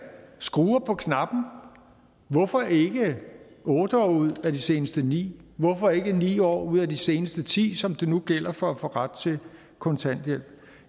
skruer på knappen hvorfor ikke otte år ud af de seneste ni år hvorfor ikke ni år ud af de seneste ti år som det nu gælder for ret til kontanthjælp